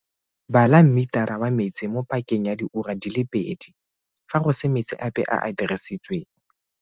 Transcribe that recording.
Bala mmetara wa metsi mo pakeng ya diura di le pedi, fa go se metsi ape a a dirisitsweng.